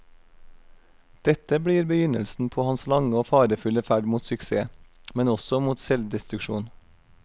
Dette blir begynnelsen på hans lange og farefulle ferd mot suksess, men også mot selvdestruksjon.